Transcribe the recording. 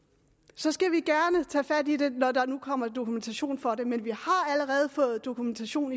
så skal vi gerne tage fat i det når der nu kommer dokumentation for det men vi har allerede fået dokumentation